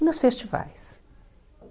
E nos festivais.